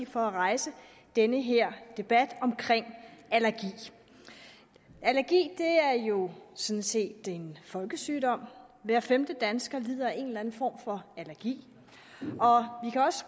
for at rejse den her debat om allergi allergi er jo sådan set en folkesygdom hver femte dansker lider af en eller anden form for allergi